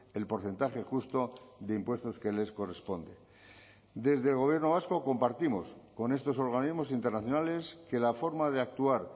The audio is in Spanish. el porcentaje justo de impuestos que les corresponde desde el gobierno vasco compartimos con estos organismos internacionales que la forma de actuar